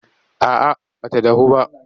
A'a ba ta dahu ba.